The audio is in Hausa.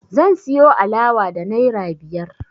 Zan siyo alawa da naira biyar